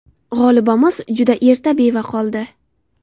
G‘olibamiz juda erta beva qoldi.